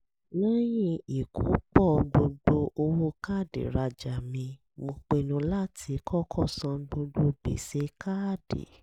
lẹ́yìn ìkópọ̀ gbogbo owó káàdì rajà mi mo pinnu láti kọ́kọ́ san gbogbo gbèsè káàdì